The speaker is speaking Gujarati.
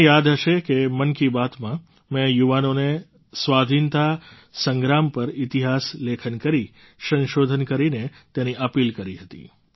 તમને યાદ હશે કે મન કી બાતમાં મેં યુવાનોને સ્વાધીનતા સંગ્રામ પર ઇતિહાસ લેખન કરી સંશોધન કરીને તેની અપીલ કરી હતી